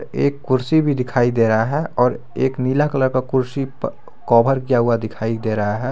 एक कुर्सी भी दिखाई दे रहा है और एक नीला कलर का कुर्सी कवर किया हुआ दिखाई दे रहा है।